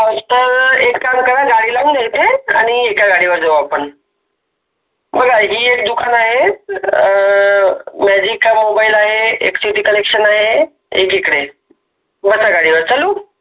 तर एक काम करा गाडी लावून द्या इथे आणि एका गाडीवर जाऊ आपण बघा हि एक दुकान आहेच अ मोबाईल आहे, एक city collection आहे एक इकडं आहे बस गाडीवर चलु